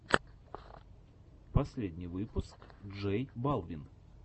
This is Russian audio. последний выпуск джей балвин